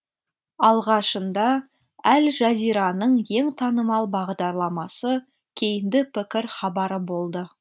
алғашында әл жазираның ең танымал бағдарламасы кейінді пікір хабары болды